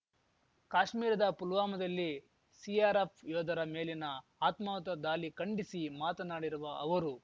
ಕಾಶ್ಮೀರದ ಪುಲ್ವಾಮಾದಲ್ಲಿ ಸಿಆರ್‌ಎಫ್‌ ಯೋಧರ ಮೇಲಿನ ಆತ್ಮಾಹುತಿ ದಾಲಿ ಖಂಡಿಸಿ ಮಾತನಾಡಿರುವ ಅವರು